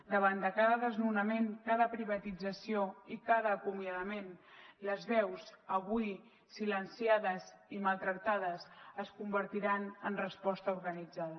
davant de cada desnonament cada privatització i cada acomiadament les veus avui silenciades i maltractades es convertiran en resposta organitzada